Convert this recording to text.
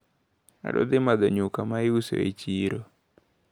Adwaro dhi madho nyuka maiuso e chiro.